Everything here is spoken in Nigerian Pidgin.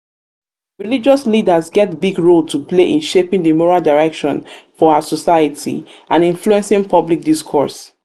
religious leaders get big role to play in shaping di moral direction for our society and influencing public discourse.